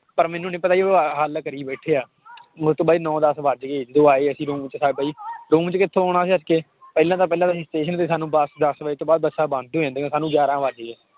ਪਰ ਮੈਨੂੰ ਨੀ ਪਤਾ ਸੀ ਉਹ ਆਹ ਹੱਲ ਕਰੀ ਬੈਠੇ ਆ ਬਾਈ ਨੋਂ ਦਸ ਵੱਜ ਗਏ ਜਦੋਂ ਆਏ ਅਸੀਂ room 'ਚ room 'ਚ ਕਿੱਥੋਂ ਆਉਣਾ ਪਹਿਲਾਂ ਤਾਂ ਪਹਿਲਾਂ ਤਾਂਂ ਅਸੀਂ station ਤੇ ਬਸ ਦਸ ਵਜੇ ਤੋਂ ਬਾਅਦ ਬੱਸਾਂ ਬੰਦ ਹੀ ਹੋ ਜਾਂਦੀਆਂ ਸਾਨੂੰ ਗਿਆਰਾਂ ਵੱਜ ਗਏ